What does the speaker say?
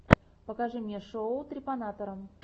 покажи мне шоу трепанатора